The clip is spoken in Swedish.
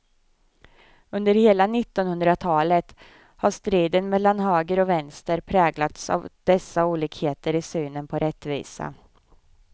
Under hela nittonhundratalet har striden mellan höger och vänster präglats av dessa olikheter i synen på rättvisa.